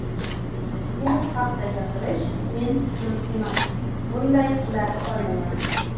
Bu haqda gapirish men uchun emas ... Bunday qila olmayman.